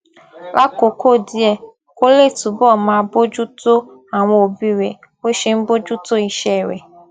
lákòókò díẹ̀ kó lè túbọ̀ máa bójú tó àwọn òbí rẹ̀ bó ṣe ń bójú tó iṣẹ́ rẹ̀